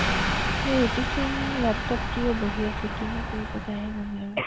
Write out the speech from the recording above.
Jitu Singh laptop লৈ বহি আছে কিনো কৰিছে তাইহে জানো আৰু